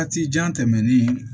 Waati jan tɛmɛnen